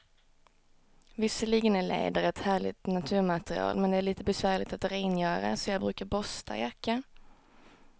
Visserligen är läder ett härligt naturmaterial, men det är lite besvärligt att rengöra, så jag brukar borsta jackan.